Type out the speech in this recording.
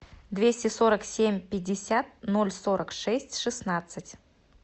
двести сорок семь пятьдесят ноль сорок шесть шестнадцать